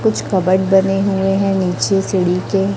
कुछ कबड बने हुए हैं नीचे सीढ़ी के--